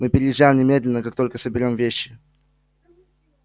мы переезжаем немедленно как только соберём вещи